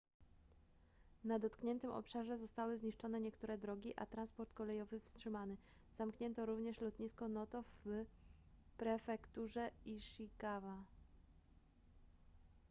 na dotkniętym obszarze zostały zniszczone niektóre drogi a transport kolejowy wstrzymany zamknięto również lotnisko noto w prefekturze ishikawa